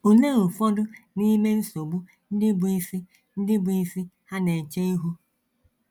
Olee ụfọdụ n’ime nsogbu ndị bụ́ isi ndị bụ́ isi ha na - eche ihu?